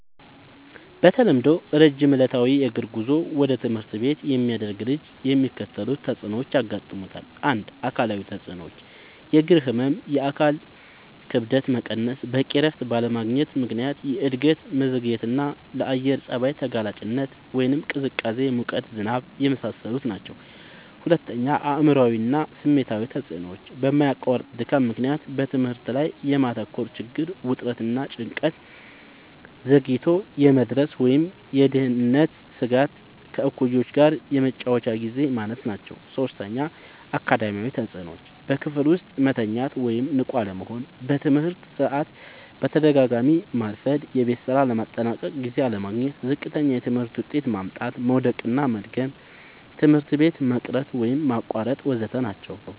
በተለምዶ ረጅም ዕለታዊ የእግር ጉዞ ወደ ትምህርት ቤት የሚያደርግ ልጅ የሚከተሉት ተጽዕኖዎች ያጋጥሙታል። ፩. አካላዊ ተጽዕኖዎች፦ · የእግር ህመም፣ የአካል ክብደት መቀነስ፣ በቂ እረፍት ባለማግኘት ምክንያት የእድገት መዘግየትና፣ ለአየር ጸባይ ተጋላጭነት (ቅዝቃዜ፣ ሙቀት፣ ዝናብ) የመሳሰሉት ናቸዉ። ፪. አእምሯዊ እና ስሜታዊ ተጽዕኖዎች፦ በማያቋርጥ ድካም ምክንያት በትምህርት ላይ የማተኮር ችግር፣ ውጥረት እና ጭንቀት፣ ዘግይቶ የመድረስ ወይም የደህንነት ስጋት፣ ከእኩዮች ጋር የመጫወቻ ግዜ ማነስ ናቸዉ። ፫. አካዳሚያዊ ተጽዕኖዎች፦ · በክፍል ውስጥ መተኛት ወይም ንቁ አለመሆን፣ በትምህርት ሰዓት በተደጋጋሚ ማርፈድ፣ የቤት ስራ ለማጠናቀቅ ጊዜ አለማግኘት፣ ዝቅተኛ የትምህርት ውጤት ማምጣት፣ መዉደቅና መድገም፣ ትምህርት ቤት መቅረት ወይም ማቋረጥ ወ.ዘ.ተ ናቸዉ።